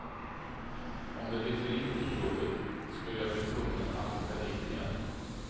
Om det blev för lite i provet skulle jag bli tvungen att åka dit igen.